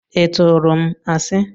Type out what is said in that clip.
Ị turu m asi?